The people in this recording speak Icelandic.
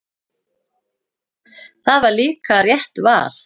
Það var líka rétt val.